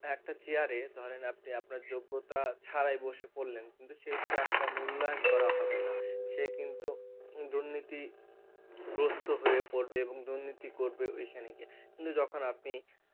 একটা চেয়ারে ধরেন আপনি আপনার যোগ্যতা ছাড়াই বসে পড়লেন কিন্তু সেই চেয়ারটা মূল্যায়ন করা হবে না সে কিন্তু দুর্নীতিগ্রস্ত হয়ে পড়বে এবং দুর্নীতি করবে ঐখানে গিয়ে, কিন্তু যখন আপনি,